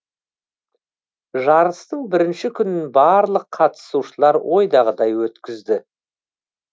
жарыстың бірінші күнін барлық қатысушылар ойдағыдай өткізді